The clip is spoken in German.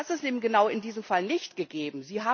Und das ist eben genau in diesem Fall nicht gegeben.